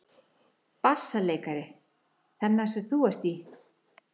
BASSALEIKARI: Þennan sem þú ert í?